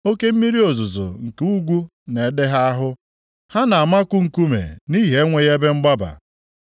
Oke mmiri ozuzo nke ugwu na-ede ha ahụ, ha na-amaku nkume nʼihi enweghị ebe mgbaba.